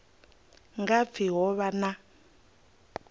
nga pfi ho vha na